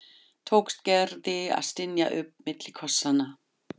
tókst Gerði að stynja upp milli kossanna.